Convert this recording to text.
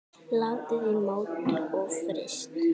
Látið í mót og fryst.